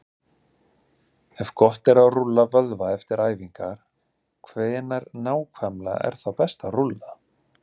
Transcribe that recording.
Ef gott er að rúlla vöðva eftir æfingar, hvenær nákvæmlega er þá best að rúlla?